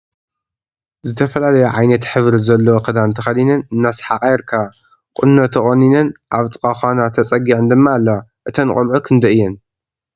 ዝተፈላለየ ዓይነትሕብሪ ዘለዎ ክዳን ተከዲነን እናሰሓቃ ይርከባ ። ቆኖ ተቆኒነን ኣብ ጥቃ ካና ተጨጊዐን ድማ አለዋ ።እተን ቆልዑ ክንደይ እየን?